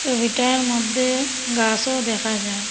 ছবিটার মদ্যে গাসও দেখা যার।